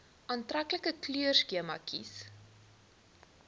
aantreklike kleurskema kies